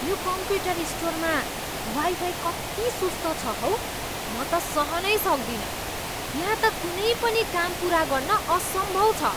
यो कम्प्युटर स्टोरमा वाइफाई कति सुस्त छ हौ म त सहनै सक्दिनँ। यहाँ त कुनै पनि काम पुरा गर्न असम्भव छ।